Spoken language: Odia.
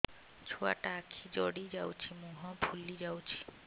ଛୁଆଟା ଆଖି ଜଡ଼ି ଯାଉଛି ମୁହଁ ଫୁଲି ଯାଉଛି